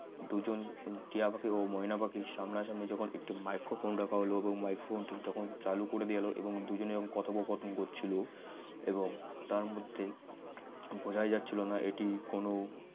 দুজন টিয়া পাখি ও ময়না পাখি সামনাসামনি যখন একটি microphone রাখা হলো microphone টি যখন চালু করে দেওয়া হলো এবং দুজনে কথোপকথন করছিল এবং তার মধ্যে বোঝাই যাচ্ছিল না এটি কোন